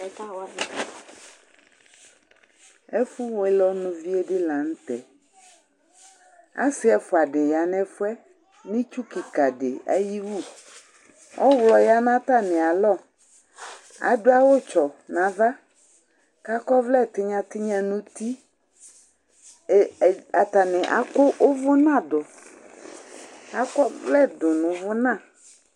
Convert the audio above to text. Ɛʋɛ lɛ ƒom'ɛdi, k'atani akɔ Atani akɔ ekɔtɔ nu ɛlu , ɛdini al'ɔnu n'ɛlu, k'ɔsidini ama uʋi n'idu, ɛdini anama uʋi n'idu Ɛdi du ayili k'adu awu vɛ Atamidua mɛ itsu kika di k'ɔl'ugbata wla ɔdu atamidu